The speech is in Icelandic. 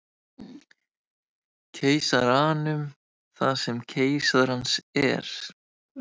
Keisaranum það sem keisarans er.